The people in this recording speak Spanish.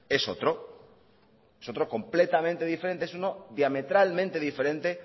es otro es otro completamente diferente es uno diametralmente diferente